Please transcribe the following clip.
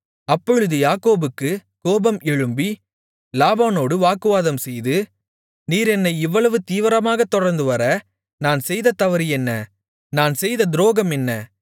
அப்பொழுது யாக்கோபுக்குக் கோபம் எழும்பி லாபானோடு வாக்குவாதம்செய்து நீர் என்னை இவ்வளவு தீவிரமாகத் தொடர்ந்துவர நான் செய்த தவறு என்ன நான் செய்த துரோகம் என்ன